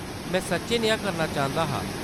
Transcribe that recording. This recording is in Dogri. में सच्चैं नेहा करना चांह्‌‌‌दा हा।